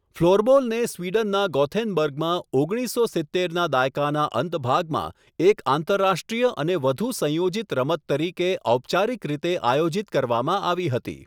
ફ્લોરબોલને સ્વીડનના ગોથેનબર્ગમાં ઓગણીસસો સિત્તેરના દાયકાના અંત ભાગમાં એક આંતરરાષ્ટ્રીય અને વધુ સંયોજિત રમત તરીકે ઔપચારિક રીતે આયોજિત કરવામાં આવી હતી.